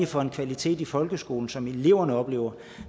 for en kvalitet i folkeskolen som eleverne oplever